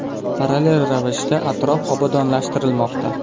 Parallel ravishda atrof obodonlashtirilmoqda.